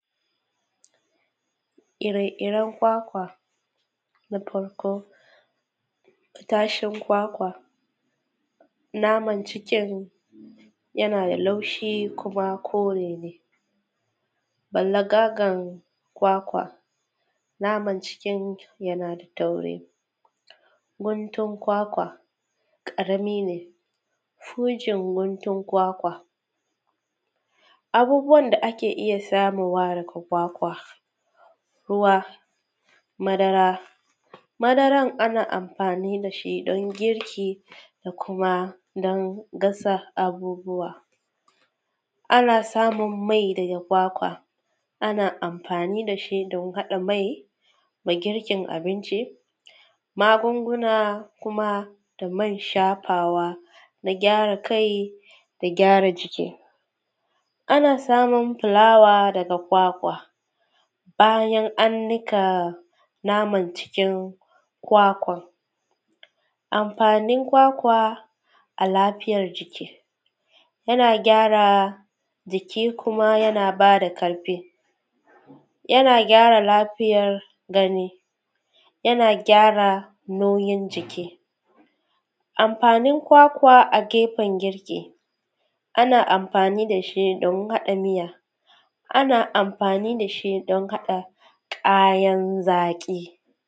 Ire-iren kwakwa, na farko, kashin kwakwa, naman cikin yana da laushi kuma kore ne. Gwallagagar kwakwa, naman cikin yana da tauri, guntun kwakwa, ƙarami ne. Hujin guntun kwakwa, abubuwan da ake iya samowa daga kwakwa, ruwa, madara. Madaran ana amfani da shi don girki da kuma don gasa abubuwa. Ana samum mai daga kwakwa, ana amfani da shi don haɗa mai da girkin abinci, magunguna kuma da man shafawa na gyara kai da gyara jiki Ana samun fulawa daga kwakwa, bayan an nika naman cikin kwakwan. Amfanin kwakwa a lafiyar jiki, yana gyara jiki kuma yana ba da karfi, yana gyara lafiyar gani, yana gyara noyin jiki. Amfanin kwakwa a gefen girki, ana amfani da shi don haɗa miya, ana amfani da shi don haɗa ƙayan zaƙi.